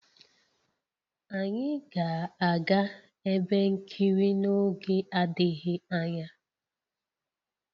Anyị ga-aga ebe nkiri n'oge adịghị anya